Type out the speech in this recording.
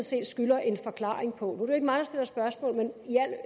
set skylder en forklaring på nu ikke mig der stiller spørgsmål men